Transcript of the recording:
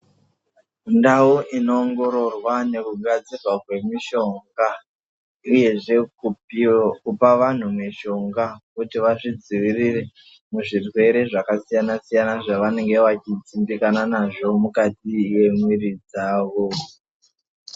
Ndau inoongororwa nekugadzirwa kwemishonga uyezve kupiro kupa vantu mushonga kuti vazvidzivirire muzvirwere zvakasiyana siyana zvavanenge vachidzimbikana nazvo mukati yemwiri dzavo.